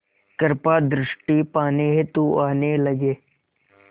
कृपा दृष्टि पाने हेतु आने लगे